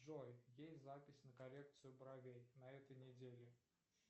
джой есть запись на коррекцию бровей на этой неделе